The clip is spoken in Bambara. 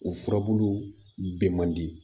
O furabulu bɛ mandi